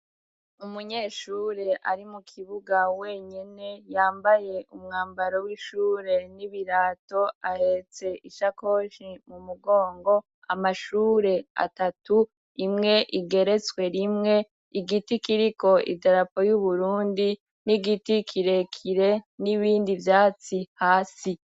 Umunyeshure ari mu kibuga wenyine yambaye umwambaro w'ishure n'ibirato ahetse ishakoshi mu mugongo amashure atatu imwe igeretswe rimwe, igiti kiriko idarapo y'uburundi n'igiti kirekire n'ibindi vyatsi hasi.